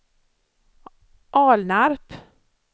Alnarp